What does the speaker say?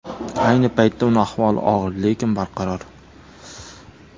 Ayni paytda uning ahvoli og‘ir, lekin barqaror.